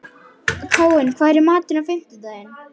Káinn, hvað er í matinn á fimmtudaginn?